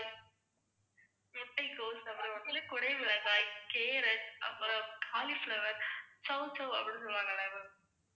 முட்டைக்கோஸ், அப்புறம் வந்து குடைமிளகாய், carrot அப்புறம் cauliflower சௌசௌ அப்படின்னு சொல்லுவாங்களே ma'am